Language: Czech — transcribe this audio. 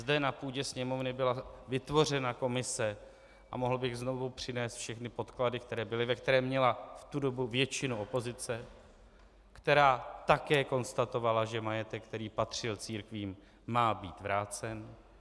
Zde na půdě Sněmovny byla vytvořena komise - a mohl bych znovu přinést všechny podklady, které byly -, ve které měla v tu dobu většinu opozice, která také konstatovala, že majetek, který patřil církvím, má být vrácen.